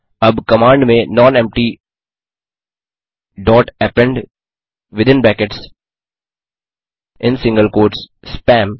अब कमांड में nonempty dot append within brackets in single quotes spam